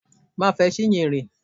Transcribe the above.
Má fe Chinyere!